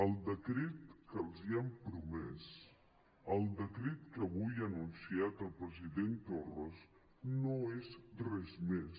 el decret que els han promès el decret que avui ha anunciat el president torra no és res més